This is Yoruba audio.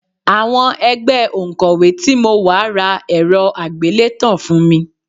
Àwọn ẹgbẹ́ òǹkọ́wé tí mo wà ra ẹ̀rọ àgbélétan fún mi